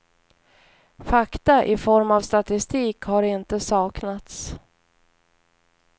Fakta i form av statistik har inte saknats.